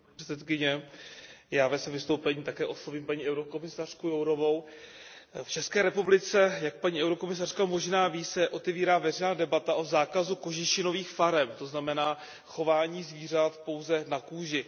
Paní předsedající, já ve svém vystoupení také oslovím paní komisařku Jourovou. V České republice, jak paní komisařka možná ví, se otevírá veřejná debata o zákazu kožešinových farem, to znamená chování zvířat pouze na kůži.